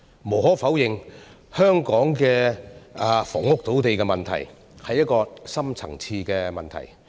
無可否認，香港的房屋土地問題，是一個深層次的問題。